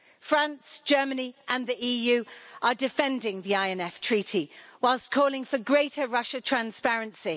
France, Germany and the EU are defending the INF Treaty, whilst calling for greater Russian transparency.